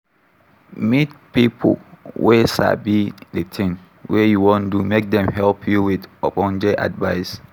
Meet pipo wey sabi the thing wey you wan do make dem help you with ogbonge advice